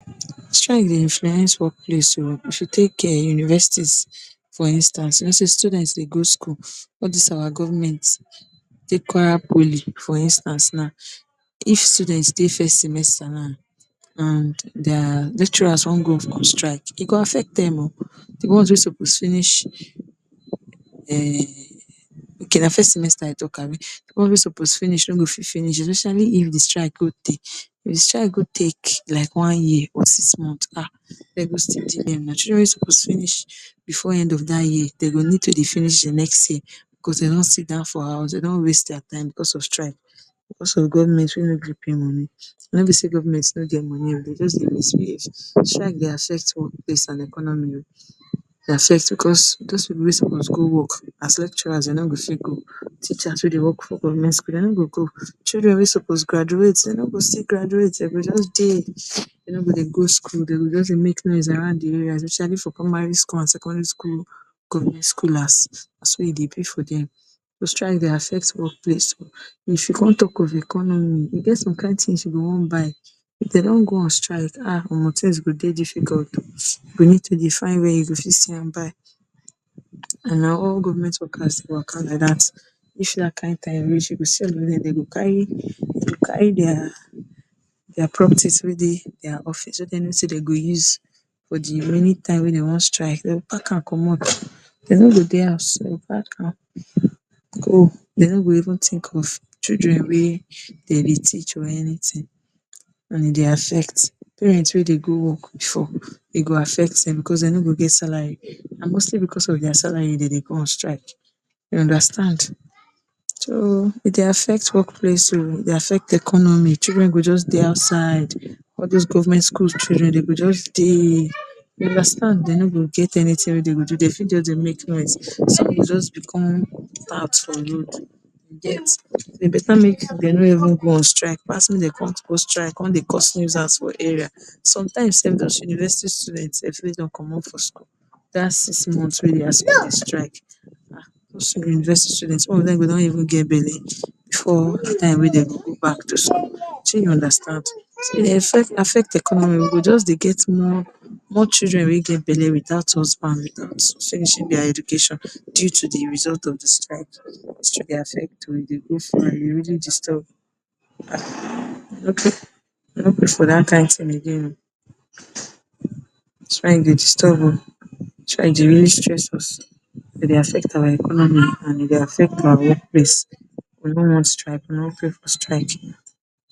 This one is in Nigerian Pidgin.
Strike dey influence work place oo. If you take um universities for instance, you know sey students dey go school all dis our government take poly for instance now, if students dey first semester now and dia lecturers wan go on strike, e go affect dem o. de ones wey suppose finish um okay na first semester I talk abi, di one wey suppose finish no go fit finish especially if de strike go tey. If de strike go take like one year or six months um dey go still children wey suppose finish before end of dat year dey go need to dey finish de next year because dey don sidon for house dey don waste dia time because of strike because of government wey no gree pay money na im be sey government no get money oo dey jux dey. Strike dey affect workplace and economy oo, because dose pipu wey suppose go work as lecturers no go fit go, teachers wey dey work for government school or teacher no go go, children wey suppose graduate dey no go still graduate, dey go just dey, dey no go dey go school dey go just dey make noise around di area especially for primary school and secondary school government schoolers na so e dey be for dem. Strike dey affect workplace o. If you con talk of economy, e get some kind things you go want buy, like if dey don go on strike um [um]things go dey difficult o, you go need to dey find where you go fit see am buy and na all government workers waka like dat, if dat kind time reach, you go see all of dem den go carry carry dia dia properties wey dey dia office wey dem know sey dey go use for de remaining time wey dey wan strike, dey go pack am comot. De no go dey house, de no go even think of children wey de dey teach or anything and e dey affect parent wey dey go work before, e go affect dem and because dey no go get salary and mostly because of dia salary dey dey go on strike, you understand, so e dey affect workplace oo e dey affect economy, children go jux dey outside. All dis government day school children dey go just dey, you understand. Dey no go just get wetin Dia dey dey fit just dey make noise, some go jux become for road, you get E beta make dey no even go on strike, wey dey con on strike con dey cause nuisance for area. Sometimes sef dos university students sef wey dey con commot for school dat six months wey dem on strike Those university students some of dem don even get bele before time wey dem go go back to school. Shey you understand, e dey affect economy, we go just de get more children wey get bele before time wey dem go go back to school sey you understand. E dey affect economy, we go just dey get more more children wey get bele without husband finishing dia education due to di result of di strike, e dey affect dey really disturb, okay i no pray for dat kind thing again oo, strike dey disturb oo strike dey really stress us, e dey affect our economy and e dey affect our workplace, I no want strike, I no pray for strike